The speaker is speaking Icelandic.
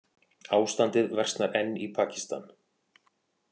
Ástandið versnar enn í Pakistan